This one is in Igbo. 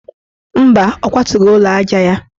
Mba, ọ kwatughi ụlọaja ya.